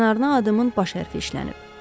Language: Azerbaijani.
Kənarına adımın baş hərfi işlənib.